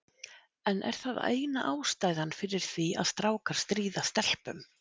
En er það eina ástæðan fyrir því að strákar stríða stelpum?